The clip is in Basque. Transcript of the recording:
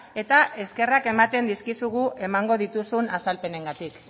eta eskerrak ematen dizkizugu emango dituzun azalpenengatik